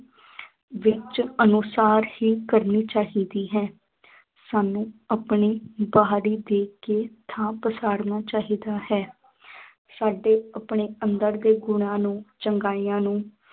ਵਿੱਚ ਅਨੁਸਾਰ ਹੀ ਕਰਨੀ ਚਾਹੀਦੀ ਹੈ ਸਾਨੂੰ ਆਪਣੀ ਬਾਹਰੀ ਦੇਖ ਕੇ ਥਾਂ ਪਛਾੜਣਾ ਚਾਹੀਦਾ ਹੈ ਸਾਡੇ ਆਪਣੇ ਅੰਦਰ ਦੇ ਗੁਣਾਂ ਨੂੰ ਚੰਗਿਆਈਆਂ ਨੂੰ